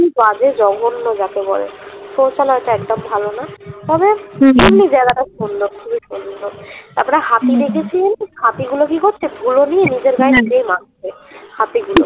কি বাজে জঘন্য যাকে বলে শৌচালয়টা একদম ভালো না তবে এমনি জায়গাটা সুন্দর খুবই সুন্দর তারপরে হাতি দেখেছি জানিস হাতিগুলো কি করছে ধুলো নিয়ে নিজের গায়ে নিজেই মাখছে হাতিগুলো